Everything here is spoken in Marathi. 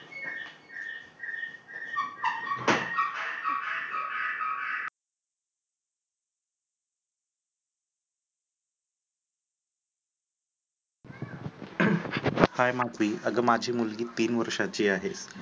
माधवी आता माझी मुलगी तीन वर्षांची आहे.